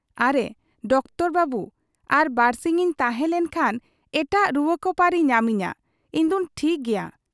ᱼᱼᱼ ᱟᱨᱮ ᱰᱟᱠᱛᱚᱨ ᱵᱟᱹᱵᱩ ! ᱟᱨ ᱵᱟᱹᱨᱥᱤᱧ ᱤᱧ ᱛᱟᱦᱮᱸ ᱞᱮᱱ ᱠᱷᱟᱱ ᱮᱴᱟᱜ ᱨᱩᱣᱟᱹᱠᱚ ᱯᱟᱹᱨᱤ ᱧᱟᱢᱤᱧᱟ ᱾ ᱤᱧᱫᱩᱧ ᱴᱷᱤᱠ ᱜᱮᱭᱟ ᱾